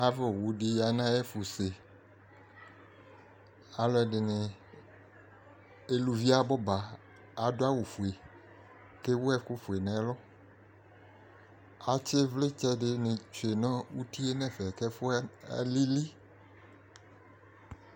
Ava owʋ di ya nʋ ayɛfʋse Alʋɛdi, alʋvi abʋ aba, adʋ awʋ fue kʋ ewʋ ɛkʋ fue n'ɛlʋ Atsi ivli di ni tsue nʋ uti e nɛfɛ kʋ ɛfuɛ alili